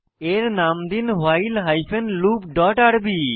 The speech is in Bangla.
এর নাম দিন ভাইল হাইফেন লুপ ডট আরবি